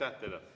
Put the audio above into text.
Aitäh teile!